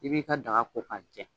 I b'i ka daga ko k'a jɛ.